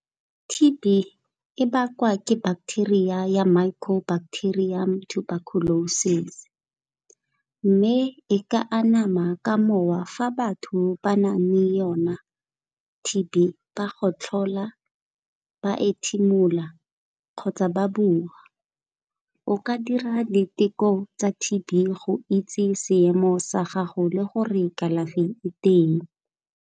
T_B e bakwa ke bacteria ya micro bacterium tuberculosis mme e ka anama ka mowa fa batho ba nang le yona T_B ba gotlhola, ba ethimola kgotsa ba bua o ka dira diteko tsa T_B go itse seemo sa gago le gore kalafi e teng.